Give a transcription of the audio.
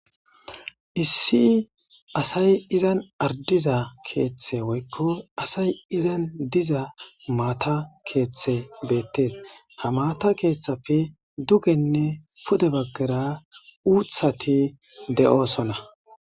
Issi asay izan ardiza keeththe woykko asay izan diza maata keeththe beettees ha maata keeththappe dugenne pude baggara uuthati de'oosona.